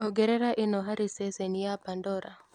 ongerera ĩno hari ceceni ya pandora